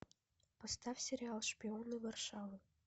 поставь сериал шпионы варшавы